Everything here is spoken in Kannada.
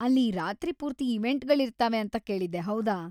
ಅಲ್ಲಿ ರಾತ್ರಿ ಪೂರ್ತಿ ಇವೆಂಟ್‌ಗಳಿರ್ತಾವೆ ಅಂತ ಕೇಳಿದ್ದೆ, ಹೌದಾ?